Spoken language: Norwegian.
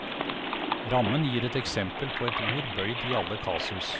Rammen gir et eksempel på et ord bøyd i alle kasus.